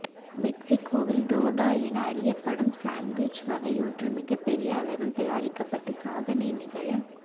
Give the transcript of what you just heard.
மெக்சிகோவில் டோர்டா என அறியப்படும் சன்ட்விச் வகையொன்று மிகப் பெரிய அளவில் தயாரிக்கப்பட்டு சாதனை நிகழ